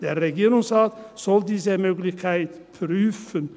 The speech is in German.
Der Regierungsrat soll diese Möglichkeit prüfen.